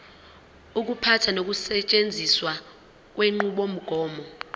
ukuphatha nokusetshenziswa kwenqubomgomo